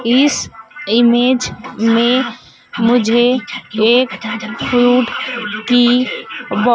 इस इमेज में मुझे एक फ्रूट की--